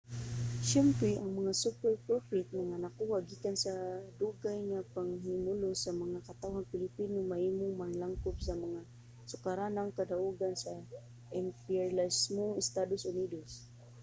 siyempre ang mga superprofit nga nakuha gikan sa dugay nga pagpahimulos sa mga katawhang pilipino mahimong maglangkob sa mga sukaranang kadaugan sa imperyalismong estados unidos